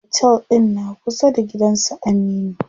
Otel ɗin na kusa da gidan su Aminu.